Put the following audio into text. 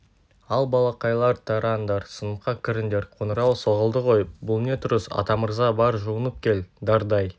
ал балақайлар тараңдар сыныпқа кіріңдер қонырау соғылды ғой бұл не тұрыс атамырза бар жуынып кел дардай